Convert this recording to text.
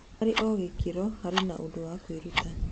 Harĩ o gĩ kĩ ro, harĩ na ũndũ wa kwĩ ruta.